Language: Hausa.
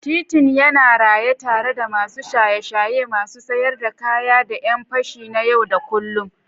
Titin yana raye tare da masu shaye-shaye, masu siyar da kaya, da ƴan fashi na yau da kullun.